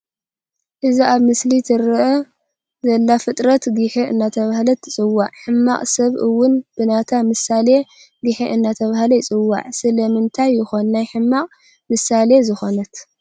እዛ ኣብ ምስሊ ትርአ ዘላ ፍጥረት ጊሐ እናተባህለት ትፅዋዕ፡፡ ሕማቕ ሰብ እውን ብናታ ምሳሌ ጊሐ እናተባህለ ይፅዋዕ፡፡ ስለምንታይ ይኾን ናይ ሕመቕ ምሳሌ ዝኾነት?